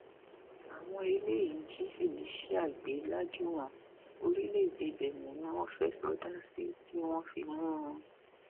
àwọn eléyìí jí felicia gbé lajúwọn orílẹèdè bẹńẹ ni wọn fẹẹ sọdá sí tí wọn fi mú un